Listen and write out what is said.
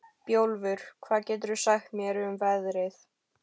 Bjólfur, hvað geturðu sagt mér um veðrið?